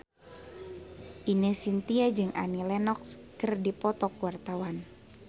Ine Shintya jeung Annie Lenox keur dipoto ku wartawan